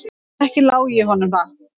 Ekki lái ég honum það.